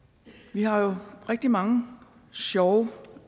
har jo rigtig mange sjove